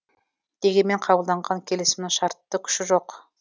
дегенмен қабылданған келісімнің шартты күші жоқ